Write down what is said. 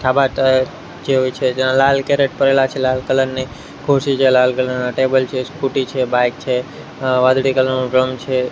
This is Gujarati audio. છાભા છે જે હોય છે જ્યાં લાલ કેરેટ પડેલા છે લાલ કલર ની ખુરશી છે લાલ કલર ના ટેબલ છે સ્કુટી છે બાઈક છે અહ વાદળી કલર નો ડ્રમ છે.